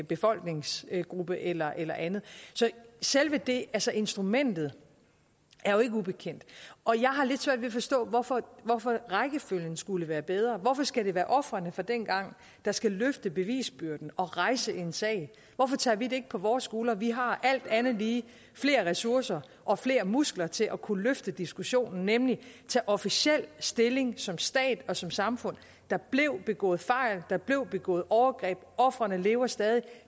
befolkningsgruppe eller andet så selve det altså instrumentet er jo ikke ubekendt og jeg har lidt svært ved at forstå hvorfor hvorfor rækkefølgen skulle være bedre hvorfor skal det være ofrene fra dengang der skal løfte bevisbyrden og rejse en sag hvorfor tager vi det ikke på vores skuldre vi har alt andet lige flere ressourcer og flere muskler til at kunne løfte diskussionen nemlig ved at tage officielt stilling som stat og som samfund og der blev begået fejl der blev begået overgreb ofrene lever stadig